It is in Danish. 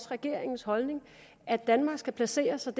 regeringen så at danmark skal placere sig